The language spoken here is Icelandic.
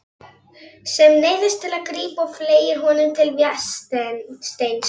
Sem neyðist til að grípa og fleygir honum til Vésteins.